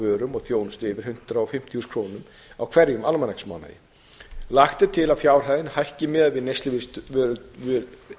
vörum og þjónustu yfir hundrað og fimmtíu þúsund krónum í hverjum almanaksmánuði lagt er til að fjárhæðin hækki miðað við